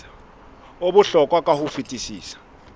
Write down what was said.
o bohlokwa ka ho fetisisa